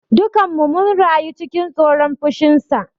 Dukanmu mun rayu cikin tsoron fushinsa.